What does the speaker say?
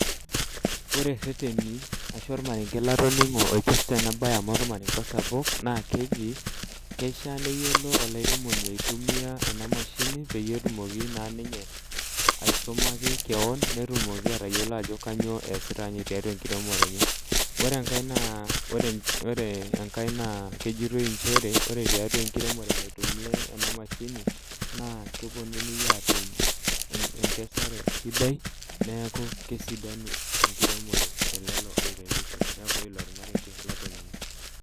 Ore irrereni arashu ormarenge oipirta enabaye amu ormarenge osapuk naa keji kishiaa neyiolo olairemoni aitumia ena mashini peyie etumoki naa ninye aisumaki keon netumoki atayiolo ajo kainyioo eesita tiatua enkiremore enye ore enkae naa kejitoi nchere ore tiatua enkiremore naitumiaa ena mashini naa keponunui aatum enkesare sidai neeku kesidanu enkiremore telelo oiremisho neeku ilo ormarenge latoning'o.